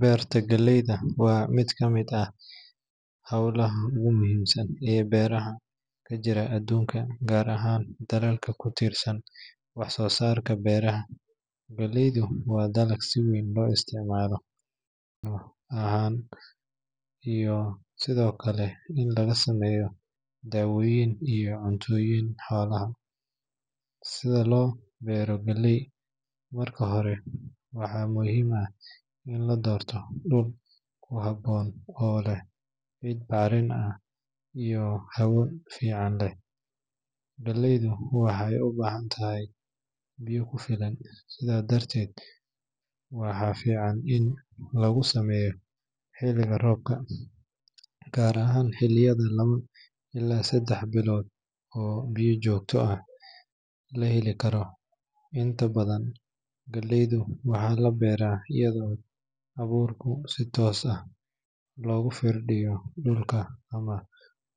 Beerta galleyda waa mid ka mid ah hawlaha ugu muhiimsan ee beeraha ka jira adduunka, gaar ahaan dalalka ku tiirsan wax soo saarka beeraha. Galleydu waa dalag si weyn loo isticmaalo cunno ahaan iyo sidoo kale in laga sameeyo daawooyin iyo cuntooyinka xoolaha. Si loo beero galley, marka hore waxaa muhiim ah in la doorto dhul ku habboon oo leh ciid bacrin iyo hawo fiican leh. Galleydu waxay u baahan tahay biyo ku filan, sidaa darteed beerta waxaa fiican in lagu sameeyo xilliga roobka, gaar ahaan xilliyada laba ilaa saddex bilood oo biyo joogto ah la heli karo. Inta badan, galleyda waxaa la beeraa iyadoo abuurka si toos ah loogu firdhiyo dhulka ama